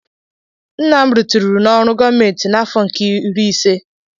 Nna m ritiru n'ọrụ gọọmenti n'afọ nke iri ise.